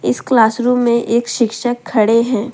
इस classroom में एक शिक्षक खड़े हैं।